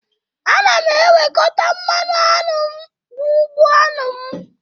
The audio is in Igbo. Ana m ewekọta mmanụ aṅụ m n'ugbo aṅụ m